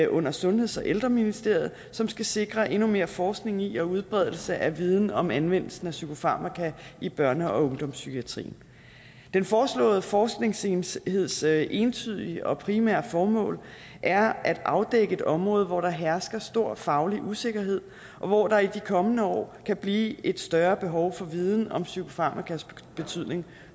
under sundheds og ældreministeriet som skal sikre endnu mere forskning i og udbredelse af viden om anvendelsen af psykofarmaka i børne og ungdomspsykiatrien den foreslåede forskningsenheds entydige entydige og primære formål er at afdække et område hvor der hersker stor faglig usikkerhed og hvor der i de kommende år kan blive et større behov for viden om psykofarmakas betydning